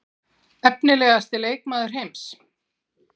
Efnilegasti leikmaður heims?